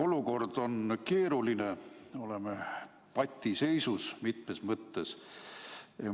Olukord on keeruline, oleme patiseisus mitmes mõttes.